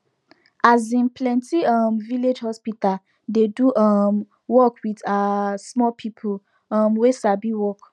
asin plenti um village hospital dey do um work with um small people um wey sabi work